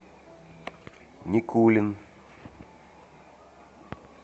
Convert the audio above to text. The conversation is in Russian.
никулин